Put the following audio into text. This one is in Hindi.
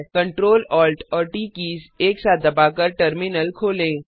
Ctrl Alt और ट कीज़ एक साथ दबाकर टर्मिनल खोलें